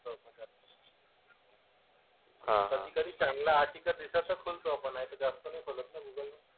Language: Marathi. कधी कधी चांगलं आर्टिकल दिसत तर खुलतो आपण नाहीतर जास्त नाही खोलत ना गूगल.